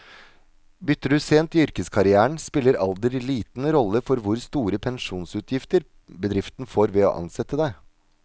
Bytter du sent i yrkeskarrieren, spiller alder liten rolle for hvor store pensjonsutgifter bedriften får ved å ansette deg.